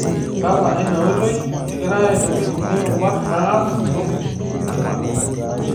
Badala e ina oitoi, kegirai aitobirr kulie rubat naas intokiting' emakeon.